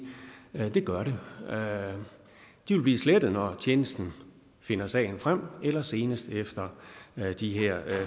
det gør det de vil blive slettet når tjenesten finder sagen frem eller seneste efter de her